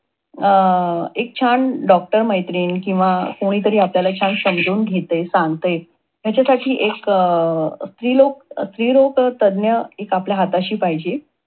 अं एक छान मैत्रीण किंवा कुणीतरी छान आपल्याला छान समजून घेतय, सांगतेय, त्याच्यासाठी एक स्त्रीरोग स्त्री रोग तज्ञ एक आपल्या हाताशी पाहिजे.